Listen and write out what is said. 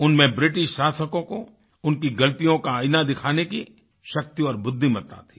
उनमें ब्रिटिश शासकों को उनकी गलतियों का आईना दिखाने की शक्ति और बुद्धिमत्ता थी